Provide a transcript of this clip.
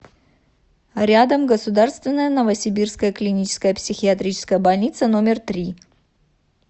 рядом государственная новосибирская клиническая психиатрическая больница номер три